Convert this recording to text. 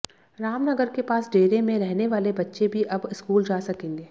रामनगर के पास डेरे में रहने वाले बच्चे भी अब स्कूल जा सकेंगे